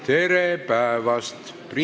Tere päevast!